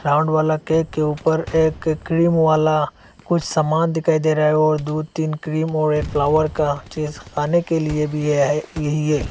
Round वाला cake के ऊपर एक क्रीम वाला कुछ सामान दिखाई दे रहा है ओ दु तीन क्रीम और एक फ्लावर का चीज खाने के लिए भी है यही।